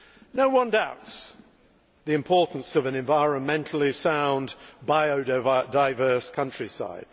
No one doubts the importance of an environmentally sound, biodiverse countryside.